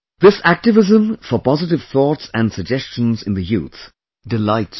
This activism for positive thoughts and suggestions in the youth delights me